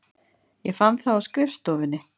Ég fann það á skrifstofunni.